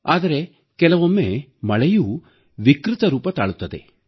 ಆದರೆ ಕೆಲವೊಮ್ಮೆ ಮಳೆಯೂ ವಿಕೃತ ರೂಪ ತಾಳುತ್ತದೆ